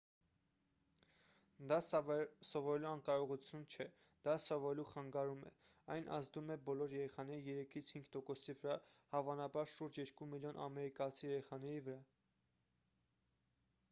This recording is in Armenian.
դա սովորելու անկարողություն չէ դա սովորելու խանգարում է այն ազդում է բոլոր երեխաների 3-ից 5 տոկոսի վրա հավանաբար շուրջ 2 միլիոն ամերիկացի երեխաների վրա